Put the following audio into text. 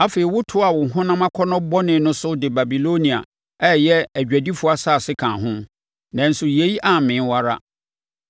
Afei wotoaa wo honam akɔnnɔ bɔne no so de Babilonia, a ɛyɛ adwadifoɔ asase kaa ho, nanso yei ammee wo ara.